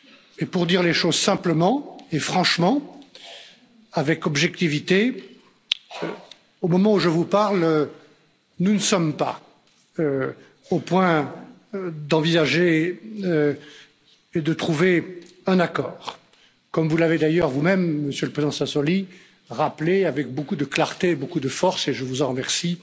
Et pour dire les choses simplement et franchement, avec objectivité, au moment où je vous parle, nous ne sommes pas au point d'envisager et de trouver un accord, comme vous l'avez d'ailleurs vous même, Monsieur le Président Sassoli, rappelé avec beaucoup de clarté, beaucoup de force et je vous en remercie